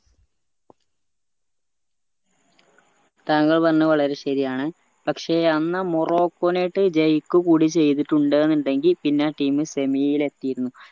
താങ്കൾ പറഞ്ഞത് വളരെ ശെരിയാണ് പക്ഷെ അന്ന് ആ മൊറോക്കോനെ ആയിട്ട് ജയിക്കു കൂടി ചെയ്തിട്ടുണ്ട്ന്നിണ്ടെങ്കി പിന്നെ team semi ല് എതിരുന്നു